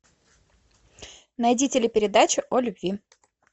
найди телепередачу о любви